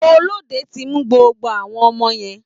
Olóde ti mú gbogbo àwọn ọmọ yẹn.